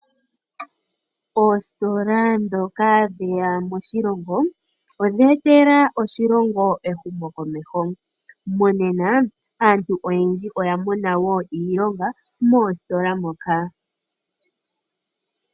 Oositola dhoka dheya moshilongo oodhetela oshilongo ehumo komeho. Monena aantu oyendji oyamona wo iilongo moositola moka.